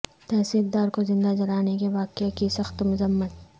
تحصیلدار کو زندہ جلانے کے واقعہ کی سخت مذمت